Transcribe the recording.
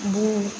B'o